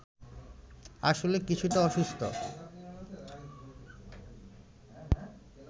আসলে কিছুটা অসুস্থ